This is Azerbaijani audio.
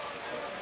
Sənəli?